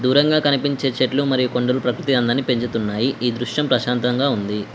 దూరంగా కనిపించే చెట్లు మరియు కొండలు ప్రకృతి అందాన్ని పెంచుతున్నాయి ఈ దృశ్యం ప్రశాంతంగా ఉంది.